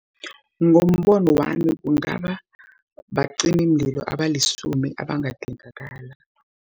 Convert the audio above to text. Ngombono wami, kungaba bacimimlilo abalisumi abangadingakala.